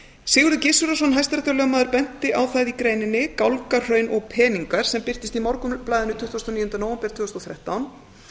sigurður gizurarson hæstaréttarlögmaður benti á það í greininni gálgahraun og peningar sem birtist í morgunblaðinu tuttugasta og níunda nóvember tvö þúsund og þrettán